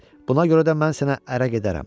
Buna görə də mən sənə ərə gedərəm.